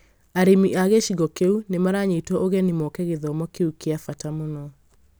Arĩmi a gĩcigo kĩu nĩ maranyitwo ũgeni moke gĩthomo kĩu kĩa bata mũno